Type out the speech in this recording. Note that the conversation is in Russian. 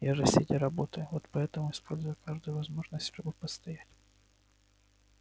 я же сидя работаю вот поэтому использую каждую возможность чтобы постоять